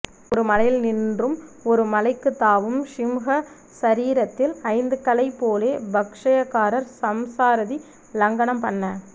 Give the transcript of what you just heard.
ஒரு மலையில் நின்றும் ஒரு மலைக்குத் தாவும் சிம்ஹ சரீரத்தில் ஜந்துக்களைப் போலே பாஷ்யகாரர் சம்சாராதி லங்கனம் பண்ண